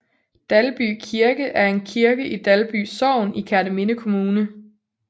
Dalby Kirke er en kirke i Dalby Sogn i Kerteminde Kommune